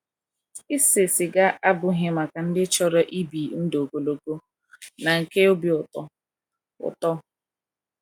ISE siga abụghị maka ndị chọrọ ịbị ndụ ogologo na nke obi ụtọ. ụtọ.